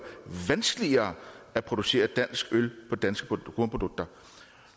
vanskeligere at producere dansk øl på danske kornprodukter